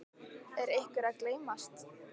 Er einhver að gleymast?